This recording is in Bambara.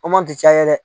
ti caya dɛ